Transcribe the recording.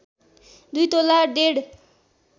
२ तोला डेढ